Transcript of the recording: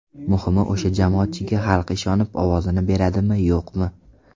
Muhimi, o‘sha jamoatchiga xalq ishonib ovozini beradimi, yo‘qmi.